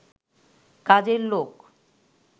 কাজের লোক